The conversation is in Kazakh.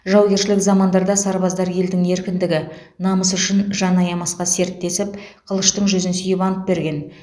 жаугершілік замандарда сарбаздар елдің еркіндігі намысы үшін жан аямасқа серттесіп қылыштың жүзін сүйіп ант берген